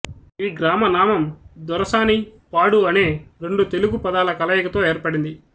ఈ గ్రామనామం దొరసాని పాడు అనే రెండు తెలుగు పదాల కలయికతో ఏర్పడింది